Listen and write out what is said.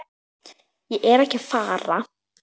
Ég er ekki að fara.